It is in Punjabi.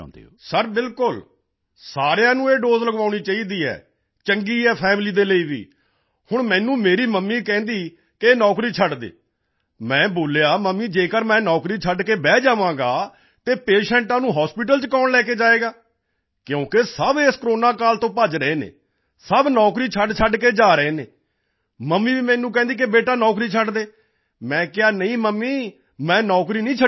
ਸਰ ਬਿਲਕੁਲ ਸਾਰਿਆਂ ਨੂੰ ਇਹ ਦੋਸੇ ਲਗਵਾਉਣੀ ਚਾਹੀਦੀ ਹੈ ਅਤੇ ਚੰਗੀ ਹੈ ਫੈਮਿਲੀ ਦੇ ਲਈ ਵੀ ਹੁਣ ਮੈਨੂੰ ਮੇਰੀ ਮਮੀ ਕਹਿੰਦੀ ਹੈ ਕਿ ਇਹ ਨੌਕਰੀ ਛੱਡ ਦਿਓ ਮੈਂ ਬੋਲਿਆ ਮੰਮੀ ਜੇਕਰ ਮੈਂ ਵੀ ਨੌਕਰੀ ਛੱਡ ਕੇ ਬੈਠ ਜਾਵਾਂਗਾ ਤਾਂ ਹੋਰ ਪੇਸ਼ੈਂਟ ਨੂੰ ਕੌਣ ਛੱਡਣ ਜਾਵੇਗਾ ਕਿਉਂਕਿ ਸਭ ਇਸ ਕੋਰੋਨਾ ਕਾਲ ਤੋਂ ਭੱਜ ਰਹੇ ਹਨ ਸਭ ਨੌਕਰੀ ਛੱਡਛੱਡ ਕੇ ਜਾ ਰਹੇ ਹਨ ਮਮੀ ਵੀ ਮੈਨੂੰ ਕਹਿੰਦੀ ਹੈ ਕਿ ਬੇਟਾ ਉਹ ਨੌਕਰੀ ਛੱਡ ਦੇ ਮੈਂ ਕਿਹਾ ਨਹੀਂ ਮਮੀ ਮੈਂ ਨੌਕਰੀ ਨਹੀਂ ਛੱਡਾਂਗਾ